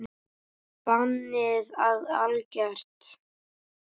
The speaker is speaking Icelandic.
Bannið er algert.